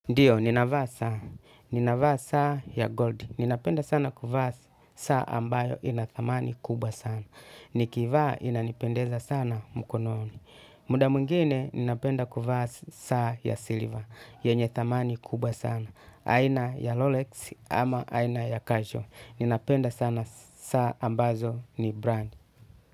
Ndio, ninavaa saa. Ninavaa saa ya gold. Ninapenda sana kuvaa saa ambayo ina thamani kuba sana. Nikivaa ina nipendeza sana mkononi. Muda mwingine, ninapenda kuvaa saa ya silver. Yenye thamani kubwa sana. Aina ya Rolex ama aina ya Casual. Ninapenda sana saa ambazo ni brand.